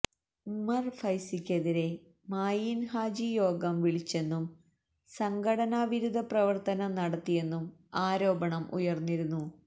ഉമർ ഫൈസിക്കെതിരെ മായീൻ ഹാജി യോഗം വിളിച്ചെന്നും സംഘടനാ വിരുദ്ധ പ്രവർത്തനം നടത്തിയെന്നും ആരോപണം ഉയർന്നിരുന്നു